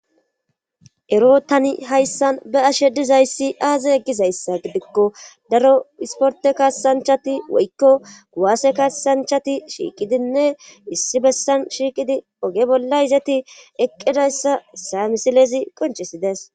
Ero tani hayssan be ashe dizayssi aaze eggizayssa gidikko daro isporte kaasanchati woykko guwaase kaasanchati shiiqidinne issi bessan shiiqidi oge bolla izeti eqqidayssa hessa misilezi qonchesides